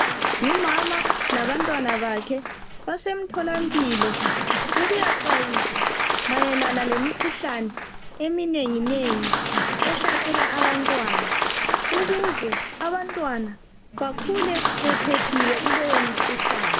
Umama labantwana bakhe, basemtholampilo ukuyaxwayiswa mayelana lemikhuhlane eminengi nengi ehlasela abantwana, ukuze abantwana bakhule bephephile kuleyo mikhuhlane.